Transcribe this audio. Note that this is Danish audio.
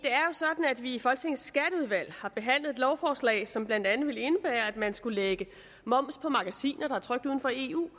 sådan at vi i folketingets skatteudvalg har behandlet et lovforslag som blandt andet vil indebære at man skal lægge moms på magasiner der er trykt uden for eu